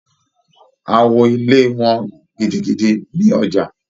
Awo ilẹ wọ́n gidigidi ní ọjà.